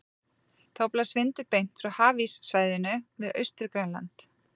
Þá blæs vindur beint frá hafíssvæðinu við Austur-Grænland.